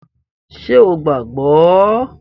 Ṣé o gbàá gbọ́?